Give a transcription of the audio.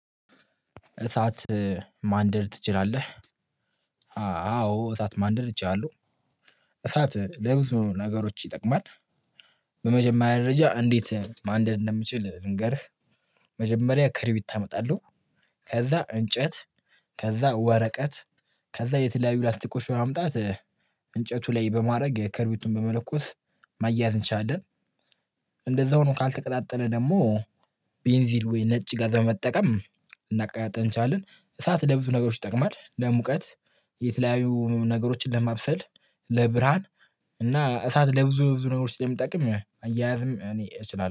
እሳት ማንደድ ትችላለህ? አዎ እሳት ማንደድ እችላለሁ። እሳት ለብዙ ነገሮች ይጠቅማል በመጀመሪያ መረጃ እንዴት ማንደድ እንደምችል ልንገርህ። መጀመሪያ ከረቢት አመጣለው፤ ከዛ እንጨት፤ ከዛ ወረቀት፤ ከዛ የተለያዩ ላስቲኮች በማምጣት እንጨቱ ላይ በማድረግ የከርቢቱን በመለኮስ ማያያዝ እንቻለን። እንደዛው ሆኖ ካልተቀጣጠለ ደግሞ ቤንዚል ወይ ነጭ ጋዝ በመጠቀም ልናቀጣጥል እንችላለን። እሳት ለብዙ ነገሮች ይጠቅማል ለሙቀት የተለያዩ ነገሮችን ለማብሰል፤ ለብርህሃን እና እሳት ለብዙ ብዙ ነገሮች ላይ እንደምጠቅም መያያዝም እኔ እችላለሁ።